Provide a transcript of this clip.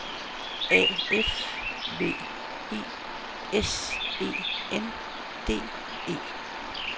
A F V I S E N D E